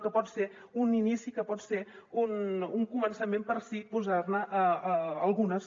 que pot ser un inici que pot ser un començament per sí posar ne algunes